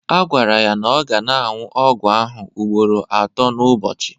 Agwara ya na ọ ga na-aṅụ ọgwụ ahụ ugboro atọ n'ụbọchị